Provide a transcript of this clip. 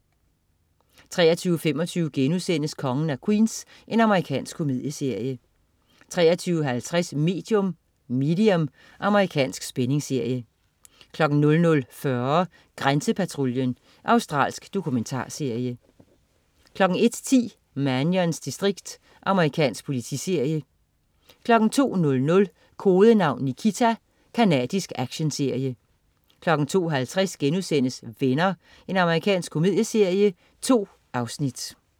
23.25 Kongen af Queens.* Amerikansk komedieserie 23.50 Medium. Amerikansk spændingsserie 00.40 Grænsepatruljen. Australsk dokumentarserie 01.10 Mannions distrikt. Amerikansk politiserie 02.00 Kodenavn Nikita. Canadisk actionserie 02.50 Venner.* Amerikansk komedieserie. 2 afsnit